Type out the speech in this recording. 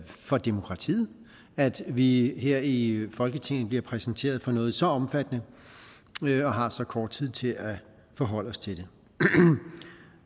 for demokratiet at vi her i folketinget bliver præsenteret for noget så omfattende og har så kort tid til at forholde os til det